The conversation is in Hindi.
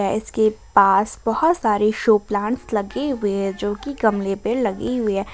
इसके पास बहोत सारे शो प्लांट्स लगे हुए है जो की गमले पे लगी हुई है।